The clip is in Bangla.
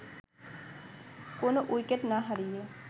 কোনো উইকেট না হারিয়ে